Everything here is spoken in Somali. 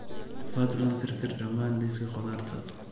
fadlan tirtir dhammaan liiska khudaarta